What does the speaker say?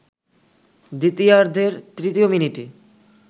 দ্বিতীয়ার্ধের তৃতীয় মিনিটে